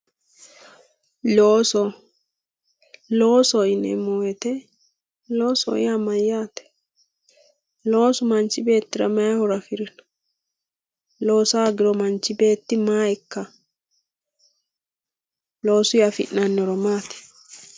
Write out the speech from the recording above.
looso loosoho yineemmo woyiite loosoho yaa mayyaate loosu manchi beettira may horo afirino loosa hoogiro manchi beetti maa ikkanno loosuyii afi'nanni horo maati.